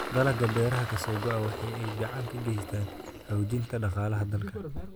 Dalagga beeraha ka soo go�a waxa ay gacan ka geystaan ??xoojinta dhaqaalaha dalka.